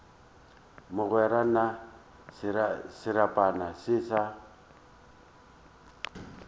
mogwera na serapana se sa